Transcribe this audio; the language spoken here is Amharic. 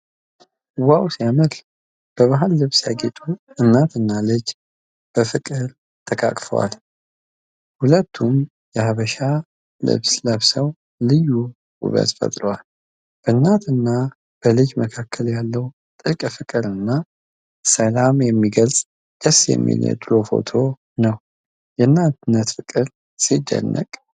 ዋው ሲያምር! በባህል ልብስ ያጌጡ እናትና ልጅ በፍቅር ተቃቅፈዋል። ሁለቱም የሀበሻ ልብስ ለብሰው ልዩ ውበት ፈጥረዋል። በእናትና በልጅ መካከል ያለውን ጥልቅ ፍቅርና ሰላም የሚገልጽ ደስ የሚል የድሮ ፎቶ። የእናትነት ፍቅር ሲደንቅ!